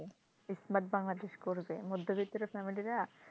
smart Bangladesh করবে মধ্যবিত্তের family রা,